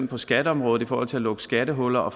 på skatteområdet i forhold til at lukke skattehuller og